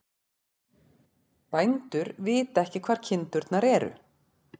Bændur vita ekki hvar kindurnar eru